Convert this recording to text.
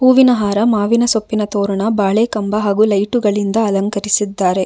ಹೂವಿನ ಹಾರ ಮಾವಿನ ಸೊಪ್ಪಿನ ತೋರಣ ಬಾಳೆ ಕಂಬ ಹಾಗು ಲೈಟುಗಳಿಂದ ಅಲಂಕರಿಸಿದ್ದಾರೆ.